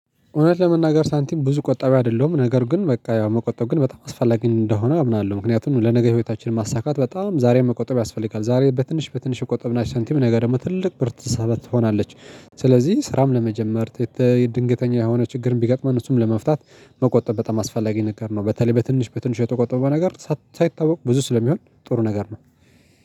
እውነት ለመናገር ሳንቲም ብዙ ቆጣቢ አይደለሁም ነገር ግን በቃ ያው መቆጠብ ግን በጣም አስፈላጊ እንደሆነ አምናለሁ ምክንያቱም ለነገ ህይወታችን ማሳካት በጣም ዛሬ መቆጠብ ያስፈልጋል ዛሬ በትንሽ በትንሽ የቆጠብናት ሳንቲም ነገ ደግሞ ትልቅ ብር ትሆናለች ስለዚህ ስራም ለመጀመር የተ ድንገተኛ የሆነ ችግርም ቢገጥመን እሱን ለመፍታት መቆጠብ በጣም አስፈላጊ ነገር ነው። በተለይ በትንሽ በትንሽ የተቆጠበው ነገር ሳይታወቅ ብዙ ስለሚሆን ጥሩ ነገር ነው።